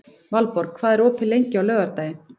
Valborg, hvað er opið lengi á laugardaginn?